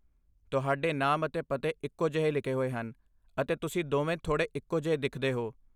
ਤੁਹਾਡੇ ਨਾਮ ਅਤੇ ਪਤੇ ਇੱਕੋ ਜਿਹੇ ਲਿਖੇ ਹੋਏ ਹਨ, ਅਤੇ ਤੁਸੀਂ ਦੋਵੇਂ ਥੋੜੇ ਇੱਕੋ ਜਿਹੇ ਦਿਖਦੇ ਹੋ।